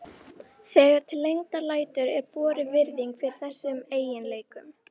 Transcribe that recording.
Þegar til lengdar lætur er borin virðing fyrir þessum eiginleikum.